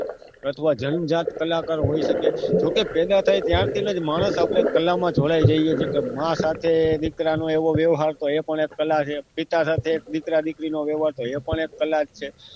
અથવા જન્મ જાત કલાકાર હોય છે કે પેદા થાય ત્યારથી ને માણસ કલામાં જ વળ્યા જઈએ જે કે માં સાથે દીકરાને એવો વ્યવહાર એ પણ કલા છે પિતા સાથે દીકરા દીકરીનો વ્યવહાર એ પણ એક કલા જ છે